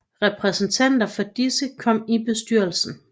Repræsentanter for disse kom i bestyrelsen